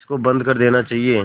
इसको बंद कर देना चाहिए